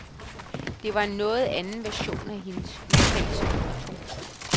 Det var en noget anden version af hendes udtalelser. punktum